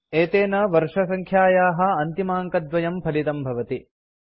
एतेन वर्षसङ्ख्यायाः अन्तिमाङ्कद्वयं फलितं भवति